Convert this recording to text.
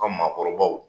Ka maakɔrɔbaw